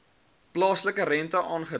plaaslike rente aangedui